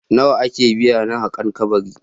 Nawa ake biya na haƙan kabari?